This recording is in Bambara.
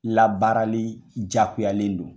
Labaarali jagoyalen don.